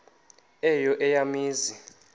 eyo eya mizi